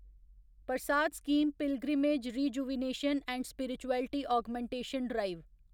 Prasad scheme pilgrimage rejuvenation and spirituality augmentation drive